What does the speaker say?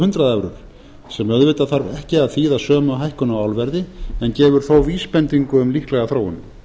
hundrað evrur sem auðvitað þarf ekki að þýða sömu hækkun á álverði en gefur þó vísbendingu um líklega þróun